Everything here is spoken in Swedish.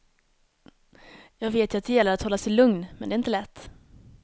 Jag vet ju att det gäller att hålla sig lugn, men det är inte lätt.